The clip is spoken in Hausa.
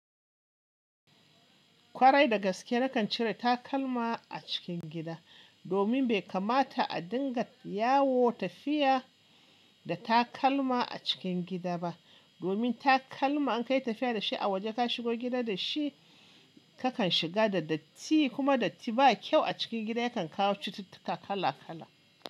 Kwarai da gaske na kan cire takalma a cikin gida, domin bai kamata a dinga yawo tafiya da takalma a cikin gida ba. Domin takalma an kai tafiya da shi a waje ka shigo gida da shi, kakan shiga da datti kuma datti ba kyau a cikin gida yakan kawo cututtuka kala kala.